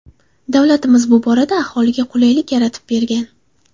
Davlatimiz bu borada aholiga qulaylik yaratib bergan.